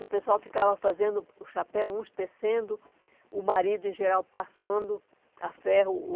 O pessoal ficava fazendo o chapéu, uns tecendo, o marido, em geral, passando a ferro,